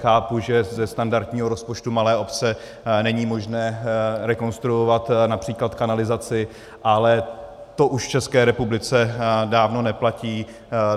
Chápu, že ze standardního rozpočtu malé obce není možné rekonstruovat například kanalizaci, ale to už v České republice dávno neplatí.